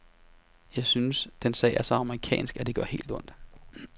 Jeg synes, den sag er så amerikansk, at det gør helt ondt.